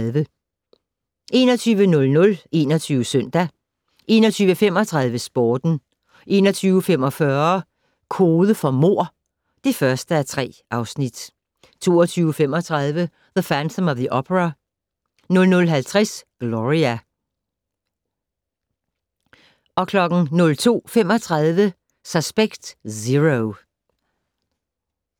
21:00: 21 Søndag 21:35: Sporten 21:45: Kode for mord (1:3) 22:35: The Phantom of the Opera 00:50: Gloria 02:35: Suspect Zero